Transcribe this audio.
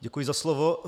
Děkuji za slovo.